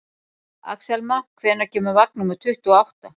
Axelma, hvenær kemur vagn númer tuttugu og átta?